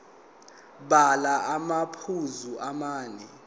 bhala amaphuzu amane